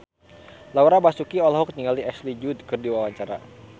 Laura Basuki olohok ningali Ashley Judd keur diwawancara